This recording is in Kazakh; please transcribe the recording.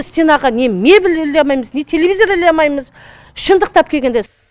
стенаға не мебель іле амаймыз не телевизор іле амаймыз шындықтап кегенде